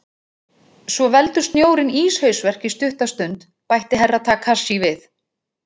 Svo veldur snjórinn íshausverk í stutta stund, bætti Herra Takashi við.